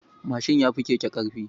Mashin yafi keke ƙarfin.